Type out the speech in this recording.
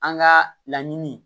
An ka laɲiniini